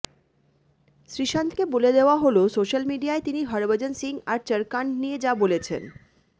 শ্রীসন্থকে বলে দেওয়া হল সোশ্যাল মিডিয়ায় তিনি হরভজন সিং আর চড় কাণ্ড নিয়ে যা বলেছেন